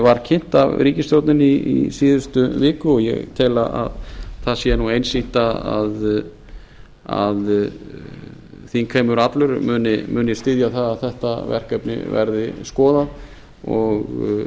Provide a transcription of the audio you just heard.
var kynnt af ríkisstjórninni í síðustu viku og ég tel að það sé einsýnt að þingheimur allur muni styðja það að þetta verkefni verði skoðað og ég